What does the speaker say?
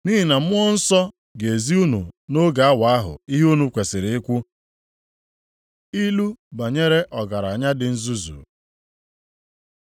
Nʼihi na Mmụọ Nsọ ga-ezi unu nʼoge awa ahụ, ihe unu kwesiri ikwu.” Ilu banyere ọgaranya dị nzuzu